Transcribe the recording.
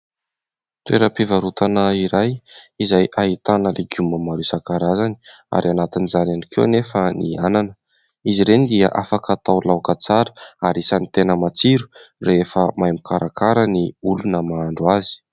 Toeram-pivarotana iray, izay ahitana legioma maro isan-karazany, ary anatin'izany ihany koa anefa ny anana; izy ireny dia afaka atao laoka tsara ary isany tena matsiro rehefa mahay mikarakara ny olona mahandro azy.